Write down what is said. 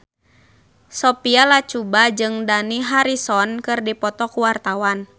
Sophia Latjuba jeung Dani Harrison keur dipoto ku wartawan